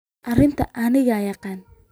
Arintas aniga yaqana.